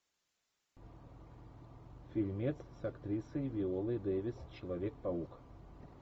фильмец с актрисой виолой дэвис человек паук